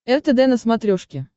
ртд на смотрешке